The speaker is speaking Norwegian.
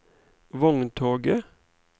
vogntoget